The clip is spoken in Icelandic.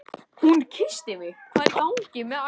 Hún kyssti mig!